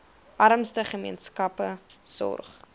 armste gemeenskappe sorg